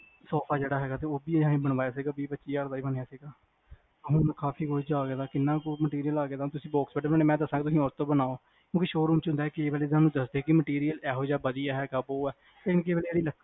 sofa ਜਿਹੜਾ ਹੈਗਾ ਤੇ ਉਹ ਅਸੀਂ ਬਣਾਇਆ ਸੀ ਗਾ ਵੀਹ ਪੱਚੀ ਹਜ਼ਾਰ ਦਾ ਬਣਿਆ ਸੀ ਗਾ ਕਿਹਨਾ ਕ material ਆ ਗਿਆ ਹੁਣ ਤੁਸੀ box bed ਬਣਾਣੇ ਮੈਂ ਦੱਸਾਂਗਾ ਤੁਸੀ ਉਸ ਤੋਹ ਬਣਾਓ ਕਿਓਂਕਿ showroom ਹੁੰਦਾ ਕ ਇਹ ਵਾਲੇ ਦਸਦੇ ਨੀ material ਇਹੋ ਜਾ ਵਧਿਆ ਜਾ ਉਹ ਆ